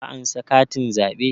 Ka ansa katin zaɓe?